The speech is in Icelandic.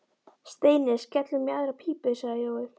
Steini, skellum í aðra pípu sagði Jói.